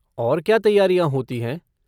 और क्या तैयारियाँ होती हैं?